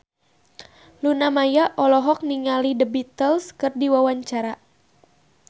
Luna Maya olohok ningali The Beatles keur diwawancara